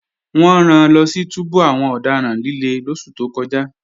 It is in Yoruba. Wọ́n ran lọ sí túbú àwọn ọ̀daràn líle lóṣù tó kọjá